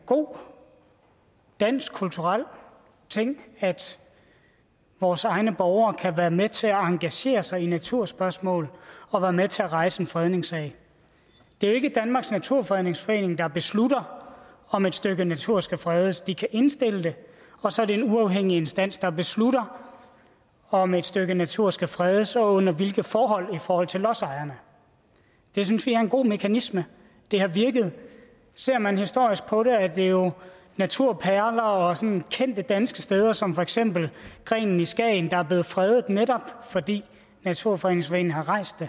god dansk kulturel ting at vores egne borgere kan være med til at engagere sig i naturspørgsmål og være med til at rejse en fredningssag det er jo ikke danmarks naturfredningsforening der beslutter om et stykke natur skal fredes de kan indstille det og så er det en uafhængig instans der beslutter om et stykke natur skal fredes og under hvilke forhold i forhold til lodsejerne det synes vi er en god mekanisme det har virket ser man historisk på det er det jo naturperler og sådan kendte danske steder som for eksempel grenen i skagen der er blevet fredet netop fordi naturfredningsforeningen har rejst